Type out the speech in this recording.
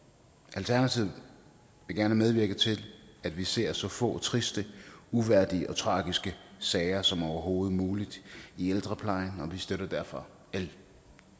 alternativet vil gerne medvirke til at vi ser så få triste uværdige og tragiske sager som overhovedet muligt i ældreplejen og vi støtter derfor l